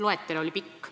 Loetelu oli pikk.